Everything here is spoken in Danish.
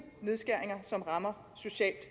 nedskæringer som rammer socialt